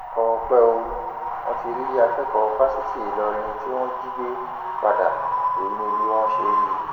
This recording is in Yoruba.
ọpẹ o wọn ti rí akẹkọọ fásitì ìlọrin tí wọn jí gbé padà èyí ni bí wọn ṣe rí i